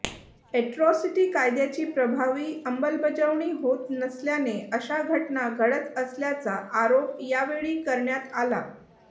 atrocity कायद्याची प्रभावी अंमलबजावणी होत नसल्याने अशा घटना घडत असल्याचा आरोप या वेळी करण्यात आला